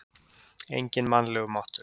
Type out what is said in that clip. Enginn mannlegur máttur?